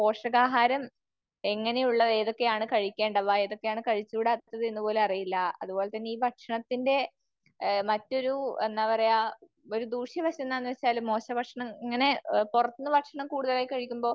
പോഷകാഹാരം എങ്ങനെയുള്ളവ ഏതൊക്കെയാണ് കഴിക്കേണ്ടവ ഏതൊക്കെയാണ് കഴിച്ചൂടാത്തത് എന്ന് പോലും അറിയില്ല. അത്പോലെ തന്നെ ഈ ഭക്ഷണത്തിന്റെ മറ്റൊരു, എന്താ പറയാ, ഒരു ദൂഷ്യ വശം എന്താണു വച്ചാ മോശ ഭക്ഷണം, ഇങ്ങനെ പുറത്തുന്നു ഭക്ഷണം കൂടുതൽ കഴിക്കുമ്പോ